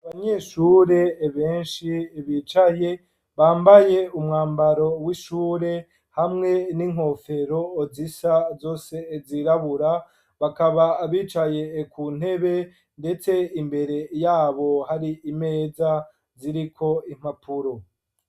Abanyeshure benshi bicaye bambaye umwambaro w'ishure ,hamwe n'inkofero zisa zose zirabura bakaba bicaye ku ntebe ,ndetse imbere yabo hari imeza ziriko impapuro.